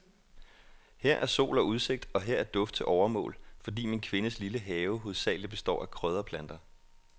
Her er sol og udsigt, og her er duft til overmål, fordi min kvindes lille have hovedsagelig består af krydderplanter.